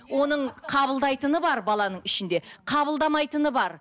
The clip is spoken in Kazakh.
оның қабылдайтыны бар баланың ішінде қабылдамайтыны бар